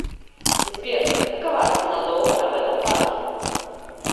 сбер какова цена доллара в этом банке